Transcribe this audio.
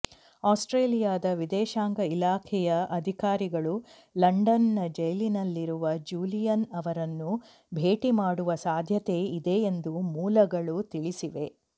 ಆಸ್ಟ್ರೇಲಿಯಾದ ವಿದೇಶಾಂಗ ಇಲಾಖೆಯ ಅಧಿಕಾರಿಗಳು ಲಂಡನ್ನ ಜೈಲಿನಲ್ಲಿರುವ ಜೂಲಿಯನ್ ಅವರನ್ನು ಭೇಟಿ ಮಾಡುವ ಸಾಧ್ಯತೆ ಇದೆ ಎಂದು ಮೂಲಗಳು ತಿಳಿಸಿವೆ